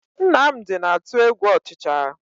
Nnamdi na-atụ egwu ọchịcha